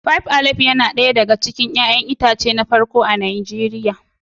Faib alayif na ɗaya daga cikin ruwan 'ya'yan itace na farko a Najeriya.